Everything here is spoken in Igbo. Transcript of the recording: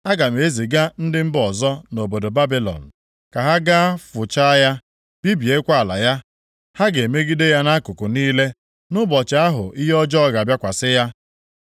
Aga m eziga ndị mba ọzọ nʼobodo Babilọn, ka ha gaa fụchaa ya, bibiekwa ala ya. Ha ga-emegide ya nʼakụkụ niile, nʼụbọchị ahụ ihe ọjọọ ga-abịakwasị ya.